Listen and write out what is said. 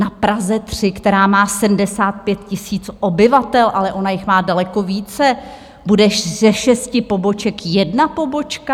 Na Praze 3, která má 75 000 obyvatel, ale ona jich má daleko více, bude ze šesti poboček jedna pobočka?